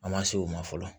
An ma se o ma fɔlɔ